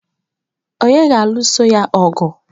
Ònye ga-alụso ya ọgụ?